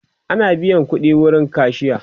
Ina biyan ƙudi wurin kashiya